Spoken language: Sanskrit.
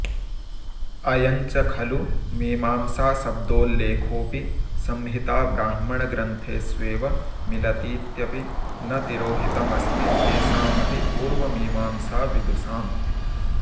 अयञ्च खलु मीमांसाशब्दोल्लेखोऽपि संहिताब्राह्मणग्रन्थेष्वेव मिलतीत्यपि न तिरोहितमस्ति केषामपि पूर्वमीमांसाविदुषाम्